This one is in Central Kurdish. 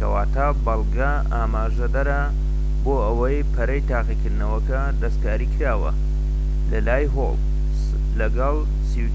کەواتە بەڵگە ئاماژەدەرە بۆ ئەوەی پەڕەی تاقیکردنەوەکە دەستکاریکراوە لەلای هۆڵ، لەگەڵ